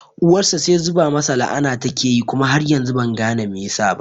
Uwarsa sai zuba masa la'ana take tayi kuma har yanzu ban gane me yasa ba